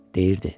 Deyirdi: